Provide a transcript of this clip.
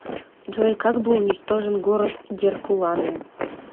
джой как был уничтожен город геркуланум